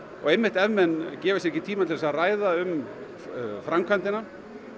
einmitt ef menn gefa sér ekki tíma til að ræða um framkvæmdina